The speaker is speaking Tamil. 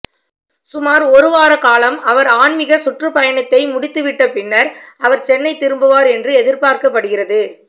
சுமார் ஒருவார காலம் அவர் ஆன்மீக சுற்றுப்பயணத்தை முடித்துவிட்ட பின்னர் அவர் சென்னை திரும்புவார் என்று எதிர்பார்க்கப்படுகிறது